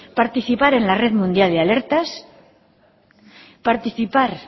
participar en la red mundial de alertas participar